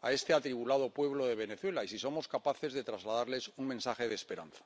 a este atribulado pueblo de Venezuela, y ver si somos capaces de trasladarles un mensaje de esperanza.